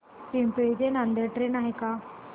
पिंगळी ते नांदेड ट्रेन आहे का